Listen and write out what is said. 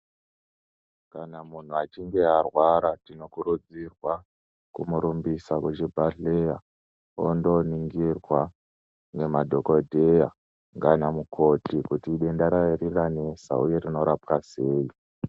Kana munhu achinge arwara tino kurudzirwa kumu rumbisa kuchi bhadhleya ondo ningirwa ne madhokodheya ngana mukoti kuti idenda riri ranesa uye rinorapwa sei.